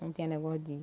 Não tinha negócio de.